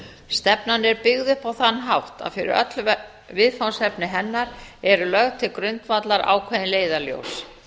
stefnan er byggð upp á þann hátt að öll viðfangsefni hennar eru lögð til grundvallar ákveðin leiðarljós